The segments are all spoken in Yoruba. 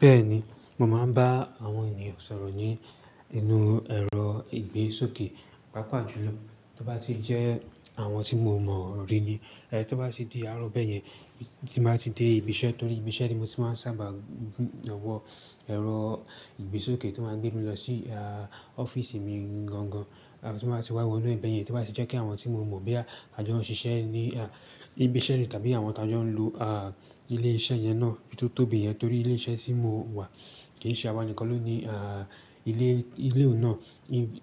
Bẹ́ẹ̀ni, mo máa ń bá àwọn ènìyàn sọ̀rọ̀ ni inú ẹ̀rọ ìgbésókè, pàápàá jùlọ tó bá ti jẹ́ àwọn tí mo mọ̀ rí ni. Ẹ, tó bá ti di àárọ̀ beyẹn, tí n ba ti dé ibi iṣẹ́ torí ibi iṣẹ́ ni mo ti máa ń sábà wọ ẹ̀rọ ìgbésókè tó máa gbé mi lọ sí a ọ́fíísì mi gangan. Tí n ba ti wa wọ bẹyẹn, tó ba tí jẹ pe àwọn tí mo mọ bóyá a jọ n ṣíṣe ni ibi iṣẹ ni tàbí àwọn ta jọ n lo ilé iṣẹ́ yẹn náà, bí tó tóbi yẹn torí ilé iṣẹ́ tí mo wà kì í ṣe àwa nìkan lóní, ile òún náà.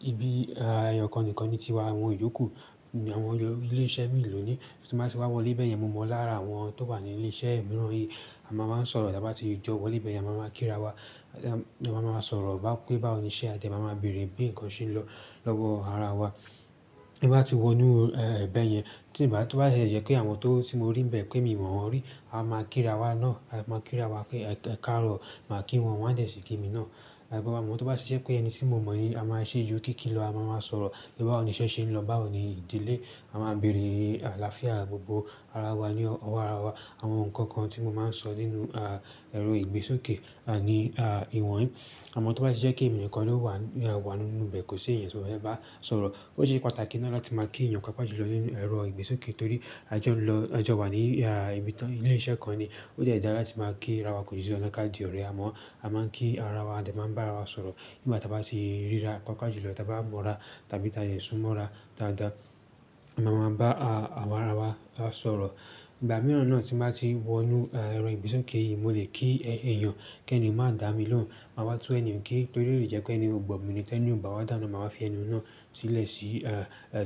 Ibi, à, ẹyọ̀kan nìkan ni ti wà, àwọn ìyókù, àwọn ilé iṣẹ́ mìíràn ló ní. Tí n ba ti wa wọlé bẹyẹn, mo mọ lára àwọn tan wa ni ile iṣẹ miran yi. A máa ń sọ̀rọ̀ tí a bá ti jọ wọle bẹ̀yẹn, a máa ń kírawọ. A máa ń sọ̀rọ̀ bá pé báwo ni iṣẹ́ a dẹ̀ máa ń bèèrè bí ǹkan ṣe ń lọ lọ́wọ́ ara wa. Bí a ti wọ inú, ẹ, ìbẹ̀ yẹn tí bàá, tó bá yẹ kí àwọn tó ti mo rí níbẹ̀ pé mi wọ́n rí, a máa kírawa náà, a máa kírawọ pé, "Ẹ káàró," máa kí wọn, wọ́n dẹ̀ ṣì kí mi náà. Ẹ, bó bá mọ̀, tó bá ṣe ẹ́ pé ẹni tí mo mọ̀ ni, a máa ṣe ju kí kí lọ, a máa ń sọ̀rọ̀ bí báwo ni iṣẹ́ ṣe ń lọ, báwo ni ìdílé, a máa ń bèèrè àlàáfíà gbogbo ara wa ní ọwọ́ ara wa. Àwọn nǹkan kan tí mo máa ń sọ nínú ẹ̀rọ ìgbésókè, ni ìwọ̀n yìí. Àmọ́ tó bá ṣe ẹ́ pé ènìyàn kan ló wà, wà nínú ìbẹ̀ kò ṣe ènìyàn tí mo bá fẹ́ bá sọ̀rọ̀, ó ṣe pàtàkì náà láti máa kí ènìyàn káàkiri lọ nínú ẹ̀rọ ìgbésókè torí a jọ ń lọ, a jọ wà ní, ibi tó, ilé iṣẹ́ kan ni. Ó dẹ dara láti máa kírawa, kò di dandan ka di ọ̀rẹ́. Àmọ́ a máa ń kí ara wa, a dẹ̀ máa ń bá ara wa sọ̀rọ̀. Nígbà tí a bá ti rira paapaa julọ, tí a bá mọra tàbí tí a dẹ súnmọ́ ra dáadáa, a máa ń bá, àwa ara wa bá sọ̀rọ̀. Ìgbà mìíràn náà tí n bá ti wọ inú ẹ̀rọ ìgbésókè yìí mo lè kí ènìyàn kí ẹnìyàn má dà mí lóhùn, màá wá tún ènìyàn kí torí lè jẹ́ pé ènìyàn kò gbọ̀ mi ní tẹ́lẹ̀, ní òun bá wá dàná, màá wá fẹ́ ẹni náà sílẹ̀ sí,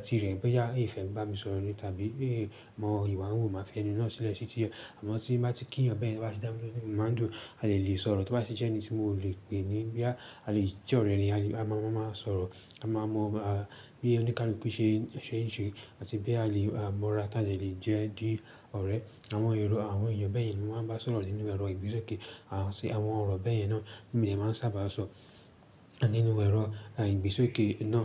tirẹ̀ bóyá e fẹ bá mi sọ̀rọ̀ ní tàbí bóyá e mọ̀ ìwà wu, màá fẹ́ ẹni náà sílẹ̀ sí tirẹ̀. Àmọ́ tí bá ti kí ènìyàn bẹ́ẹ̀, tí a bá ti dà mí lóhùn, màá dùn, a dẹ lè sọ̀rọ̀. Tó bá ṣe ẹ́ pé ẹni tí mò lè pè ní bí à, a lè jẹ́ ọ̀rẹ́ ni, a lè, a máa máa sọ̀rọ̀, a máa mọ bí oni kaluku ṣe, iṣẹ́ ń ṣe àti bí a lè, à, mọra tá ìjà lè jẹ́ di ọ̀rẹ́. Àwọn èrò àwọn ènìyàn bẹ́ẹ̀